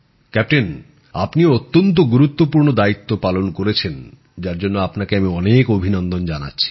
captain আপনিও অত্যন্ত গুরুত্বপূর্ণ দায়িত্ব পালন করেছেন যার জন্য আপনাকে আমি অনেক অভিনন্দন জানাচ্ছি